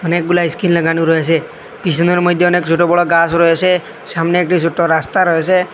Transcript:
অনেকগুলা স্ক্রিন লাগানো রয়েছে পিসনের মধ্যে অনেক ছোটবড় গাছ রয়েছে সামনে একটি সোটো রাস্তা রয়েসে।